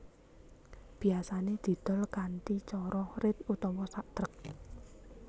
Biyasané didol kanthi cara rit utawa sak trek